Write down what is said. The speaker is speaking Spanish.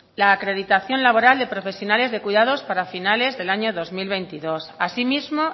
la acreditación laboral de profesionales de cuidados para finales del año dos mil veintidós así mismo